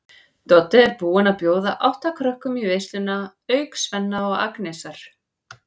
Doddi er búinn að bjóða átta krökkum í veisluna auk Svenna og Agnesar.